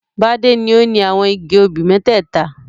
Bádé ni ó ni àwọn igi obì mẹ́tẹ́ẹ̀ta.